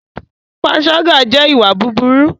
Pànṣàga jẹ ìwà bùbùru.